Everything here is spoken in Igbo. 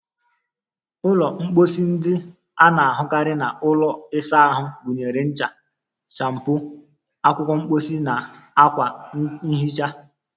Ụlọ mposi ndị a na-ahụkarị n'ụlọ ịsa ahụ gụnyere ncha, shampoo, akwụkwọ mposi, na akwa nhicha.